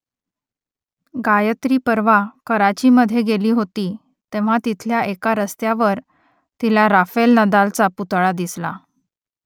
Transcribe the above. गायत्री परवा कराचीमधे गेली होती तेव्हा तिथल्या एका रस्त्यावर तिला राफेल नदालचा पुतळा दिसला